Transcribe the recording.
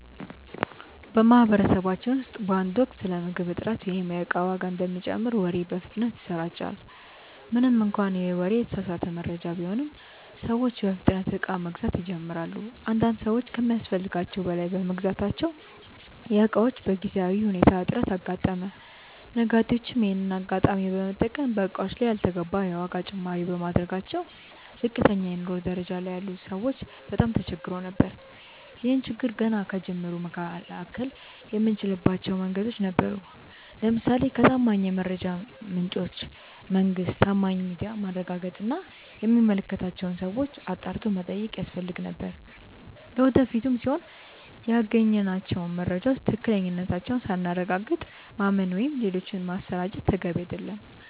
በማህበረሰባችን ውስጥ በአንድ ወቅት ስለ ምግብ እጥረት ወይም የእቃ ዋጋ እንደሚጨምር ወሬ በፍጥነት ይሰራጫል። ምንም እንኳን ይህ ወሬ የተሳሳተ መረጃ ቢሆንም፤ ሰዎች በፍጥነት እቃ መግዛት ይጀምራሉ። አንዳንድ ሰዎች ከሚያስፈልጋቸው በላይ በመግዛታቸው የእቃዎች በጊዜያዊ ሁኔታ እጥረት አጋጠመ። ነጋዴዎችም ይሄንን አጋጣሚ በመጠቀም በእቃዎቹ ላይ ያልተገባ የዋጋ ጭማሪ በማድረጋቸው ዝቅተኛ የኑሮ ደረጃ ላይ ያሉ ሰዎች በጣም ተቸግረው ነበር። ይህን ችግር ገና ከጅምሩ መከላከል የምንችልባቸው መንገዶች ነበሩ። ለምሳሌ ከታማኝ የመረጃ ምንጮች (መንግስት፣ ታማኝ ሚዲያ)ማረጋገጥ እና የሚመለከታቸውን ሰዎች አጣርቶ መጠየቅ ያስፈልግ ነበር። ለወደፊቱም ቢሆን ያገኘናቸውን መረጃዎች ትክክለኛነታቸውን ሳናረጋግጥ ማመን ወይም ሌሎች ማሰራጨት ተገቢ አይደለም።